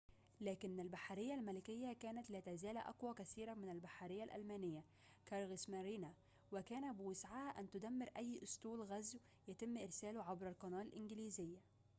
لكن البحرية الملكية كانت لا تزال أقوى كثيراً من البحرية الألمانية كريغسمارينه وكان بوسعها أن تدمر أي أسطول غزو يتم إرساله عبر القناة الإنجليزية